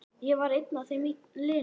Ég var einn af þeim linu.